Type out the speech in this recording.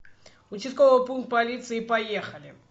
участковый пункт полиции поехали